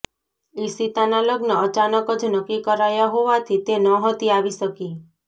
ઈશિતાના લગ્ન અચાનક જ નક્કી કરાયા હોવાથી તે નહતી આવી શકી